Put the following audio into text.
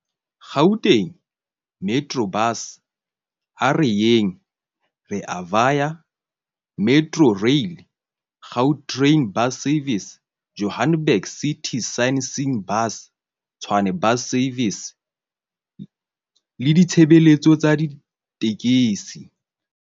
Gautrain, Metrobus, A Re Yeng, Rea Vaya, Metrorail, Gau train Bus Services, Johannesburg City Sightseeing Bus, Tshwane Bus Services le ditshebeletso tsa ditekesi.